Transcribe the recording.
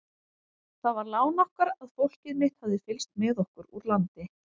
Það var lán okkar að fólkið mitt hafði fylgst með okkur úr landi.